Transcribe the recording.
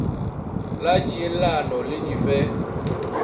la tšhielano le di fe